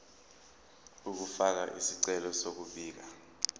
ukufaka isicelo sokubika